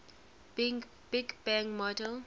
big bang model